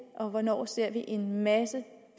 og hvornår ser vi en masse